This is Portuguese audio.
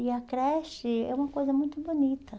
E a creche é uma coisa muito bonita.